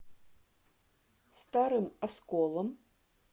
старым осколом